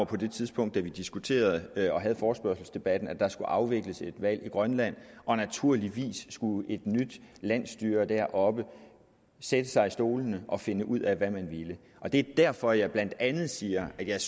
på det tidspunkt da vi diskuterede og havde forespørgselsdebatten at der skulle afvikles et valg i grønland og naturligvis skulle et nyt landsstyre deroppe sætte sig i stolene og finde ud af hvad man ville det er derfor jeg blandt andet siger at jeg